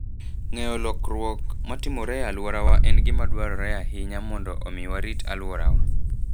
Ng'eyo lokruok matimore e alworawa en gima dwarore ahinya mondo omi warit alworawa.